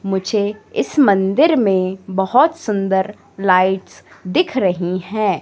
मुझे इस मंदिर में बहोत सुंदर लाइट्स दिख रहीं हैं।